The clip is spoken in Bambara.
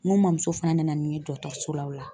N ko mɔmuso fana nana ni n ye dɔgɔtɔrɔso la o la.